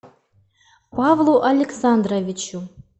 павлу александровичу